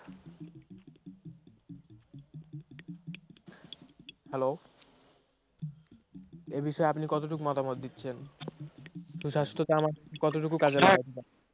hello এই বিষয়ে আপনি কতটুক মতামত দিচ্ছেন? সুস্বাস্থ্যকে তা আমার কতটুকু কাজে লাগবে?